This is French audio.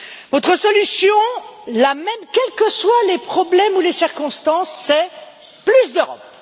Votre solution, la même quels que soient les problèmes ou les circonstances, c'est plus d'Europe.